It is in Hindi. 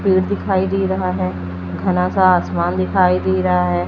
पेड़ दिखाई दे रहा है घना सा आसमान दिखाई दे रहा है।